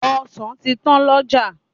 Ọsàn ti tán lọ́jà.